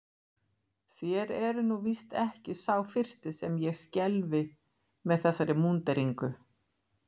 Þér eruð nú víst ekki sá fyrsti sem ég skelfi með þessari múnderingu.